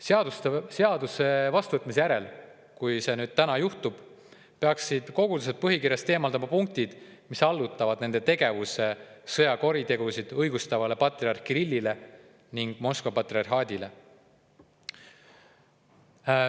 Seaduse vastuvõtmise järel, kui see täna juhtub, peaksid kogudused põhikirjast eemaldama punktid, mis allutavad nende tegevuse sõjakuritegusid õigustavale patriarh Kirillile ning Moskva patriarhaadile.